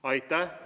Aitäh!